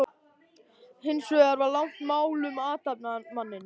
Hins vegar var langt mál um athafnamanninn